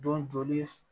Don joli